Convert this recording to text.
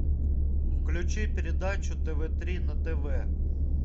включи передачу тв три на тв